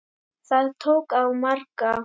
Það tók á marga.